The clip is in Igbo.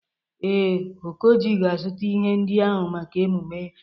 Ee, Okoji ga-azụta ihe ndị ahụ maka emume.